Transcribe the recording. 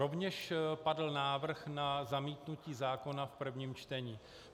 Rovněž padl návrh na zamítnutí zákona v prvním čtení.